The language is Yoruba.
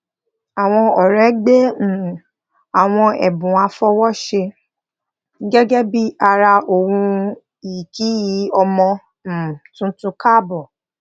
àwọn ọrẹ gbé um àwọn ẹbùn àfọwóṣe gẹgẹ bí ara ohun ì kí ọmọ um tuntun káàbọ